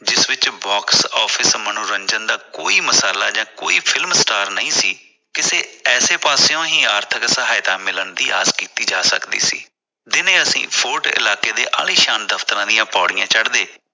ਜਿਸ ਵਿਚ box office ਮਨੋਰੰਜਨ ਦਾ ਕੋਈ ਵੀ ਮਸਾਲਾ ਜਾਂ ਕੋਈ ਫਿਲਮ star ਨਹੀਂ ਸੀ ਕਿਸੇ ਐਸੇ ਪਾਸਿਓ ਹੀ ਆਰਥਿਕ ਸਹਾਇਕ ਮਿਲਣ ਦੀ ਆਸ ਕੀਤੀ ਜਾ ਸਕਦੀ ਸੀ । ਦਿਨੇ ਅਸੀ fort ਇਲਾਕੇ ਦੇ ਆਲੀਸ਼ਾਨ ਦਫਤਰਾਂ ਦੀਆਂ ਪੌੜੀਆਂ ਚੜਦੇ